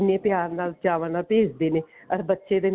ਕਿੰਨੇ ਪਿਆਰ ਨਾਲ ਚਾਵਾਂ ਨਾਲ ਭੇਜਦੇ ਨੇ or ਬੱਚੇ ਦੇ ਨਾਲ